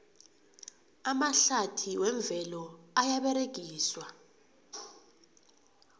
amahlathi wemvelo ayaberegiswa